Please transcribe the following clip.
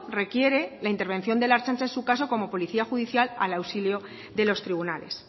requiere la intervención de la ertzaintza en su caso como policía judicial al auxilio de los tribunales